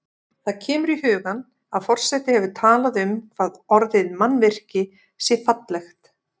Það kemur í hugann að forseti hefur talað um hvað orðið mannvirki sé fallegt.